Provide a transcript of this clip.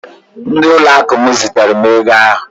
Ndị ụlọakụ m zitere ego ahụ